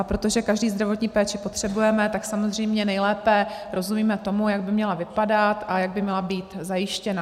A protože každý zdravotní péči potřebujeme, tak samozřejmě nejlépe rozumíme tomu, jak by měla vypadat a jak by měla být zajištěna.